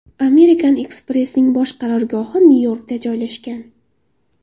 American Express’ning bosh qarorgohi Nyu-Yorkda joylashgan.